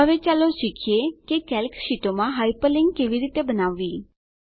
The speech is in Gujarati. હવે ચાલો શીખીએ કે કેલ્ક શીટોમાં હાયપરલીંક કેવી રીતે બનાવવી